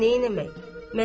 Amma neyləmək?